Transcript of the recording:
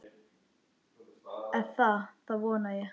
Eða það vona ég,